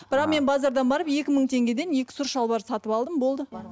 бірақ мен базардан барып екі мың теңгеден екі сұр шалбар сатып алдым болды